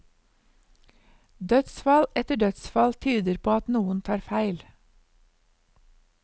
Dødsfall etter dødsfall tyder på at noen tar feil.